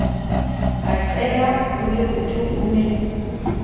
a qela holeoto o ne